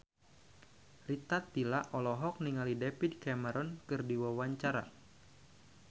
Rita Tila olohok ningali David Cameron keur diwawancara